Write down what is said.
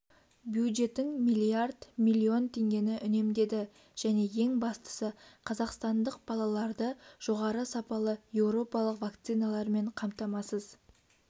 бюджетің миллиард миллион теңгені үнемдеді және ең бастысы қазақстандық балаларды жоғары сапалы еуропалық вакциналармен қамтамасыз